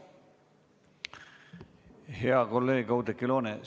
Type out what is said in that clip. Hea kolleeg Oudekki Loone!